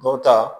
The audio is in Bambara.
Dɔw ta